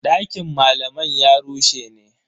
Dakin malaman ya rushe ne.